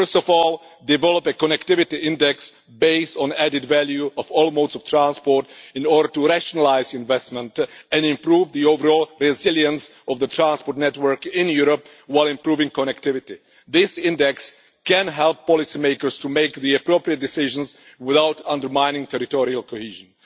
First of all, develop a connectivity index based on added value of all modes of transport, in order to rationalise investment and improve the overall resilience of the transport network in Europe, while improving connectivity. This index can help policymakers to take the appropriate decisions without undermining territorial cohesion.